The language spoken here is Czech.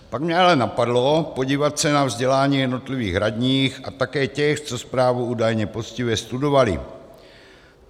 Pak mě ale napadlo podívat se na vzdělání jednotlivých radních a také těch, co zprávu údajně poctivě studovali.